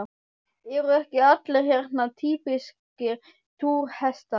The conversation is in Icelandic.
Eru ekki allir hérna týpískir túrhestar?